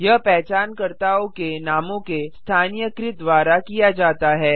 यह पहचानकर्ताओं के नामों के स्थानीयकृत द्वारा किया जाता है